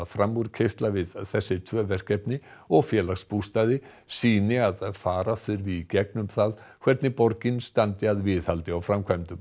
framúrkeyrsla við þessi tvö verkefni og Félagsbústaði sýni að fara þurfi í gegnum það hvernig borgin standi að viðhaldi og framkvæmdum